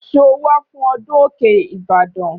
Ṣọ wà fún ọdún òkè Ìbàdàn?